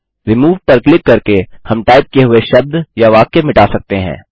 remove पर click करके हम टाइप किए हुए शब्द या वाक्य मिटा सकते हैं